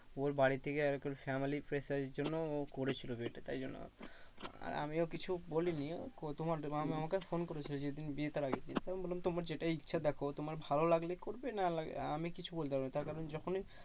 ওর বাড়ি থেকে আরকি family র pressure এর জন্য ও করেছিল বিয়েটা তাই জন্য আর আমিও কিছু বলিনি। আমাকে phone করেছিল যে তুমি বিয়েতে রাজি কি? আমি বললাম তোমার যেটা ইচ্ছা দেখো তোমার ভালো লাগলে করবে না লাগে আমি কিছু বলতে পারবো না। তার কারণ যখনই